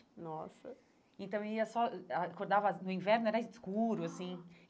Nossa Então, eu ia só... Acordava no inverno, era escuro, assim.